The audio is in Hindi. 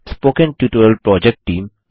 spoken tutorial project team